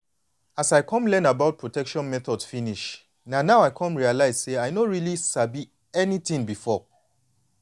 as i don learn about protection methods finish na now i come realize say i no really sabi anything before.